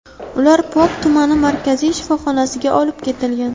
Ular Pop tumani markaziy shifoxonasiga olib ketilgan.